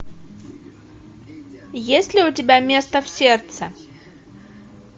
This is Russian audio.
есть ли у тебя место в сердце